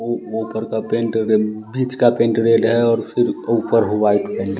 उ ऊपर का पेंट गन भीच का पेंट रेड है और फिर ऊपर व्हाइट --